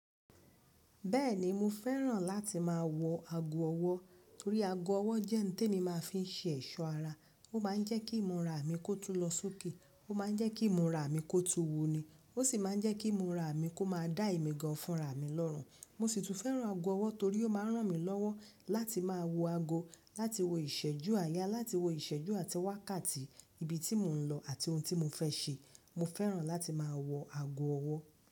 Bẹ́ẹ̀ni mo fẹ́ràn láti máa wọ ago ọwọ́ torí ago ọwọ́ jẹ́ ohun tí èmi máa ń fi ṣe ẹ̀ṣọ́ ara. Ó máa ń jẹ́ kí ìmúra mi kó tún lọ sókè. Ó ma ń jẹ́ kí ìmúra mi kó tu wuni. Ó sì máa ń jẹ́ kí ìmúra mi kó má dá èmi gan fun ra mi lọ́rùn. Mo sì tún fẹ́ràn ago ọwọ́ torí ó máa ń ràn mí lọ́wọ́ láti máa wo ago, láti wo ìṣẹ́jú àyà, láti wo ìṣẹ́jú àti wákàtí ibi tí mo ń lọ àti ohun tí mo fẹ́ ṣe. Mo fẹ́ràn láti máa wọ ago ọwọ́.